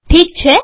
ઠીક છે